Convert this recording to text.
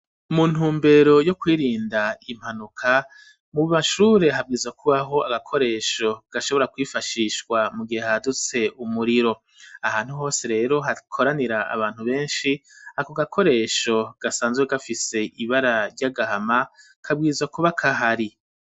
Mu ntumbero yo kwirinda impanuka mu mashure habwiza kubaho agakoresho gashobora kwifashishwa mu gihe hadutse umuriro ahantu hose rero hakoranira abantu beshi ako gakoresho gasanzwe gafise ibara ry'agahama kabwiza kuba gahari